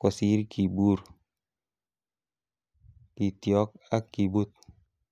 kosir kibur kityok ak kibut.